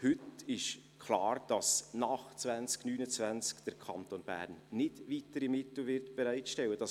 Heute ist klar, dass der Kanton Bern nach 2029 keine weiteren Mittel bereitstellen wird.